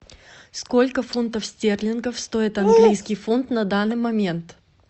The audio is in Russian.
сколько фунтов стерлингов стоит английский фунт на данный момент